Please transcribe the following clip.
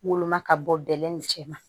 Woloma ka bɔ bɛlɛ nin cɛ ma